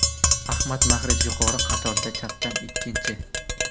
Ahmad Mahrez yuqori qatorda chapdan ikkinchi.